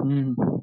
ना